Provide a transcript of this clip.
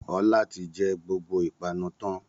Ọlá ti jẹ gbogbo ìpanu tán